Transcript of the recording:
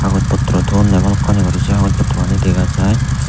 hagos pottrow toyonney balokkani guri se hagos pottrow gani dega jaai.